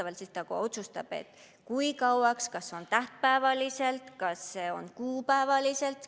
Valitsus siis ka otsustab, kui kauaks, kas see on tähtpäevaliselt, kas see on kuupäevaliselt.